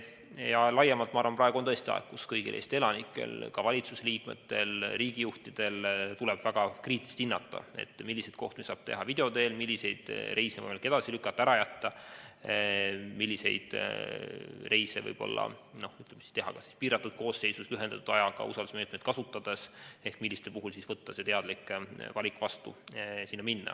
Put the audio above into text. Ja laiemalt ma arvan, et praegu on tõesti aeg, kus kõigil Eesti elanikel, ka valitsuse liikmetel, riigijuhtidel, tuleb väga kriitiliselt hinnata, milliseid kohtumisi saab teha video teel, milliseid reise on võimalik edasi lükata, ära jätta, milliseid reise teha piiratud koosseisus, lühendatud ajaga või usaldusmeetmeid kasutades ehk milliste puhul võtta vastu teadlik otsus sinna minna.